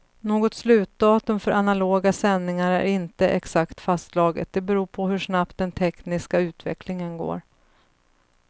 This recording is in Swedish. Något slutdatum för analoga sändningar är inte exakt fastslaget, det beror på hur snabbt den tekniska utvecklingen går.